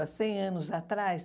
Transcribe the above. Há cem anos atrás.